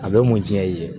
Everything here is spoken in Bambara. A bɛ mun diya i ye